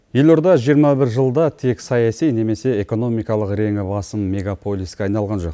елорда жиырма бір жылда тек саяси немесе экономикалық реңі басым мегаполиске айналған жоқ